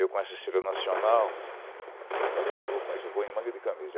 Eu com essa estrela nacional, falei, eu não vou com isso, eu vou em manga de camisa.